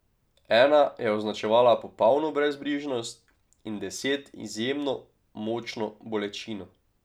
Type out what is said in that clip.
Ena je označevala popolno brezbrižnost in deset izjemno močno bolečino.